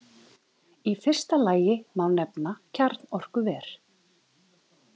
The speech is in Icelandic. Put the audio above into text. Í fyrsta lagi má nefna kjarnorkuver.